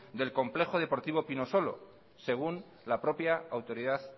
del complejo deportivo pinosolo según la propia autoridad